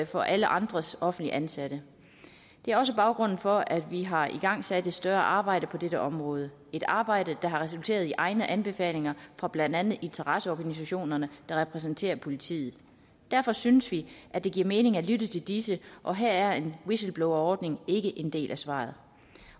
for alle andre offentligt ansatte det er også baggrunden for at vi har igangsat et større arbejde på dette område et arbejde der har resulteret i egne anbefalinger fra blandt andet interesseorganisationerne der repræsenterer politiet derfor synes vi at det giver mening at lytte til disse og her er en whistleblowerordning ikke en del af svaret